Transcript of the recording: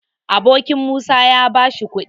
Abokin Musa ya bashi kuɗi